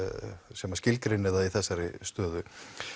sem skilgreinir það í þessari stöðu